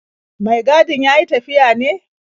Mai gadin ya yi tafiya ne?